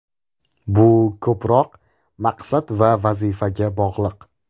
Bu ko‘proq maqsad va vazifaga bog‘liq.